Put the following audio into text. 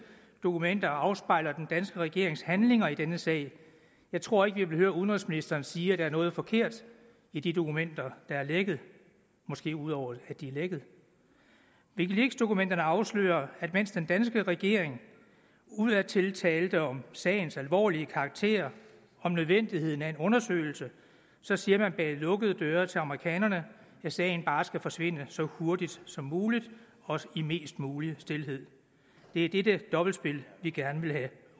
dokumenter afspejler den danske regerings handlinger i denne sag jeg tror ikke vi vil høre udenrigsministeren sige at der er noget forkert i de dokumenter der er lækket måske ud over at de er lækket wikileaksdokumenterne afslører at mens den danske regering udadtil talte om sagens alvorlige karakter om nødvendigheden af en undersøgelse siger man bag lukkede døre til amerikanerne at sagen bare skal forsvinde så hurtigt som muligt og i mest mulig stilhed det er dette dobbeltspil vi gerne vil have